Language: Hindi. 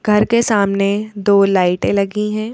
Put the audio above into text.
घर के सामने दो लाइटें लगी हैं।